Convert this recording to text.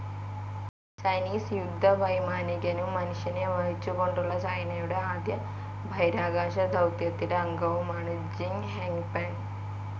Chinese യുദ്ധവൈമാനികനും മനുഷ്യനെ വഹിച്ചുകൊണ്ടുള്ള ചൈനയുടെ ആദ്യ ബഹിരാകാശദൗത്യത്തിലെ അംഗവുമാണ് ജിങ് ഹെയ്പെങ്.